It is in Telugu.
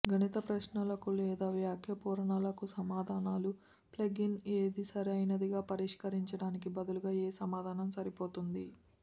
గణిత ప్రశ్నలకు లేదా వాక్య పూరణలకు సమాధానాలు ప్లగ్ఇన్ ఏది సరైనదిగా పరిష్కరించడానికి బదులుగా ఏ సమాధానం సరిపోతుంది